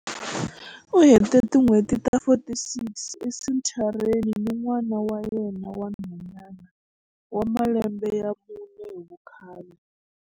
U hete tin'hweti ta 46 esenthareni ni n'wana wa yena wa nhwanyana wa malembe ya mune hi vukhale.